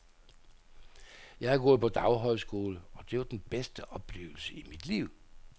Jeg har gået på daghøjskole, og det var den bedste oplevelse i mit liv.